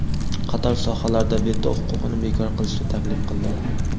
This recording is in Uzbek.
qator sohalarda veto huquqini bekor qilishni taklif qildi.